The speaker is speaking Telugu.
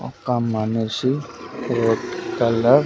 ఒక్క మనిషి రెడ్ కలర్ --